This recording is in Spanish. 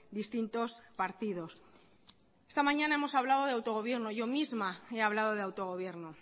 distintos partidos esta mañana hemos hablado de autogobierno yo misma he hablado de autogobierno